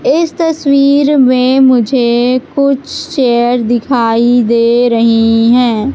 इस तस्वीर में मुझे कुछ चेयर दिखाई दे रही है।